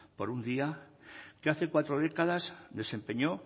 por un día que hace cuatro décadas desempeñó